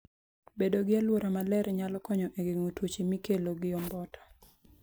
Bedo gi alwora maler nyalo konyo e geng'o tuoche mikelo gi omboto.